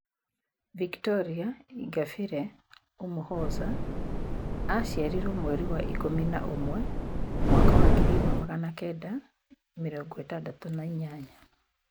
Victoire Ingabire Umuhoza aciarirwo mweri wa ikũmi na ũmwe mwaka wa 1968.